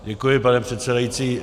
Děkuji, pane předsedající.